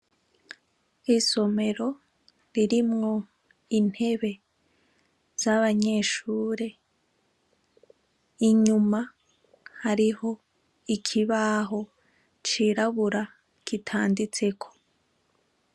Isomero ririmwo intebe z'abanyeshure inyuma hariho ikibaho cirabura kitanditseko.